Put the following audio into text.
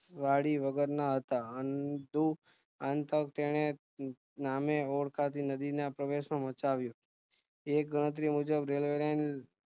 વળી વગર ના હતા તેને નામે ઓળખાતી નદીના પ્રવેશ માં મચાવ્યું એ ગણતરી મુજબ railway line